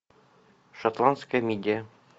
шотландская мидия